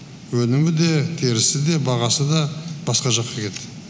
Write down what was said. өнімі де терісі де бағасы да басқа жаққа кетті